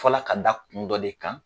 fɔ la ka da kun dɔ de kan.